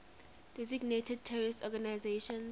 designated terrorist organizations